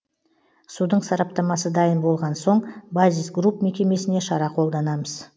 судың сараптамасы дайын болған соң базис групп мекемесіне шара қолданамыз